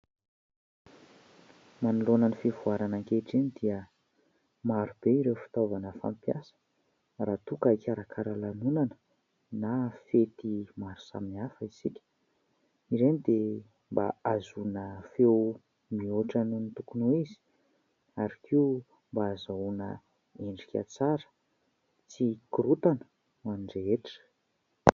Manoloana ny fivoarana ankehitriny dia marobe ireo fitaovana fampiasa raha toa ka hikarakara lanonana na fety maro samihafa isika. Ireny dia mba ahazoana feo mihoatra noho ny tokony ho izy ary koa mba ahazoana endrika tsara tsy hikorotana ho any rehetra.